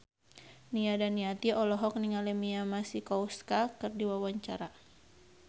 Nia Daniati olohok ningali Mia Masikowska keur diwawancara